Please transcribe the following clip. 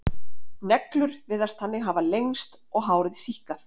Neglur virðast þannig hafa lengst og hárið síkkað.